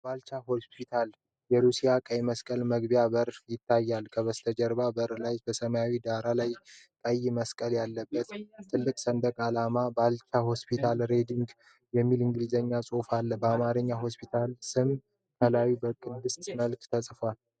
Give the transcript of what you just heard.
የበልቻ ሆስፒታል የሩሲያ ቀይ መስቀል መግቢያ በር ይታያል። ከበስተኋላው በር ላይ በሰማያዊ ዳራ ላይ ቀይ መስቀል ያለበት ትልቅ ሰንደቅ ዓላማ እና "BALCHA HOSPITAL RUSSIAN RED CROSS" የሚል የእንግሊዝኛ ጽሑፍ አለ። በአማርኛም የሆስፒታሉ ስም ከላዩ በቅስት መልክ ተጽፏል።